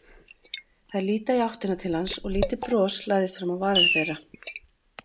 Þær líta í áttina til hans og lítið bros læðist fram á varir þeirra.